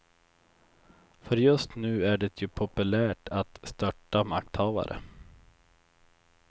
För just nu är det ju populärt att störta makthavare.